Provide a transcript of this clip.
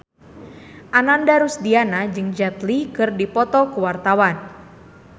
Ananda Rusdiana jeung Jet Li keur dipoto ku wartawan